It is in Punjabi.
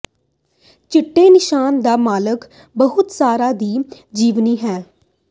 ਚਿੱਟੇ ਨਿਸ਼ਾਨ ਦਾ ਮਾਲਕ ਬਹੁਤ ਸਾਰਾ ਦੀ ਜੀਵਨੀ ਹੈ